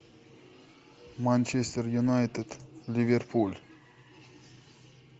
манчестер юнайтед ливерпуль